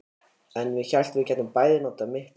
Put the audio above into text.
Ég hélt við gætum bæði notað mitt hjól.